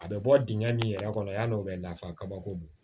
A bɛ bɔ dingɛ min yɛrɛ kɔnɔ yanni o bɛ nafa kabako don